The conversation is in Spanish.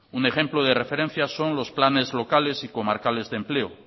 un ejemplo de referencia son los planes locales y comarcales de empleo